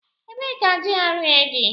Ebee ka GRA dị?